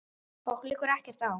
Okkur liggur ekkert á.